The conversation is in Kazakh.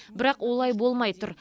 бірақ олай болмай тұр